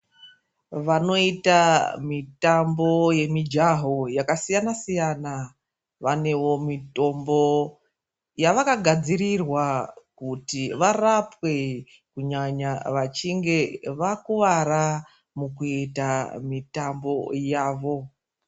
Vanoita mitambo yemijaho yaka siyana -siyaa vanewo mitombo yavakagadzirirwa kuti varapwe kunyanya vechinge vakuwara vechiita mitambo yavo.